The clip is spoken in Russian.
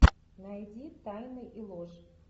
найди тайны и ложь